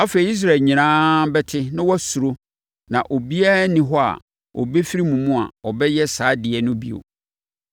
Afei, Israel nyinaa bɛte na wɔasuro na obiara nni hɔ a ɔbɛfiri mo mu a, ɔbɛyɛ saa adeɛ no bio.